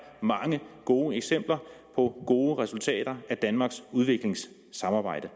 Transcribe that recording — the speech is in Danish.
mange gode eksempler på gode resultater af danmarks udviklingssamarbejde